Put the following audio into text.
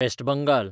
west Bengal